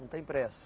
Não tem pressa.